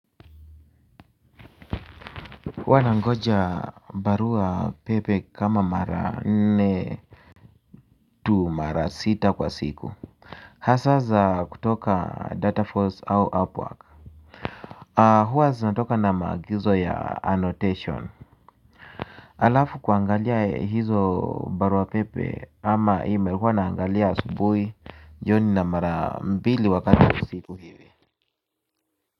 Huwa nangoja barua pepe kama mara nne tu mara sita kwa siku. Hasa za kutoka data force au upwork. Huwa zinatoka na maagizo ya annotation. Alafu kuangalia hizo barua pepe ama email huwa naangalia asubuhi jioni na mara mbili wakati kwa usiku hivi.